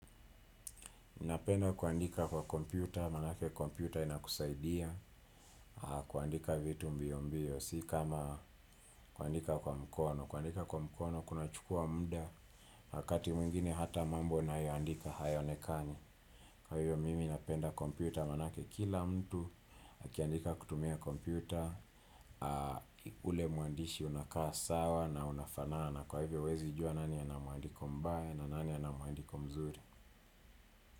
Napenda kuandika kwa kompyuta, maanake kompyuta inakusaidia, kuandika vitu mbio mbio, si kama kuandika kwa mkono. Kuandika kwa mkono, kuna chukua muda, wakati mwingine hata mambo unayoandika hayaonekani. Kwa hiyo, mimi napenda kompyuta, maanake kila mtu, akiandika kutumia kompyuta, ule muandishi unakaa sawa na unafanana. Kwa hivyo, huwezi jua nani ana muandiko mbaya na nani anamuandiko mzuri.